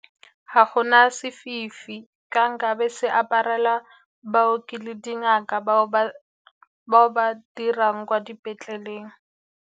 Ga go na sefifi ka nkabe se aparela bao ke le dingaka, bao ba dirang kwa dipetleleng.